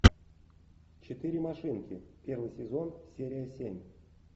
четыре машинки первый сезон серия семь